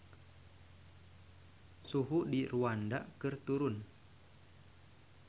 Suhu di Rwanda keur turun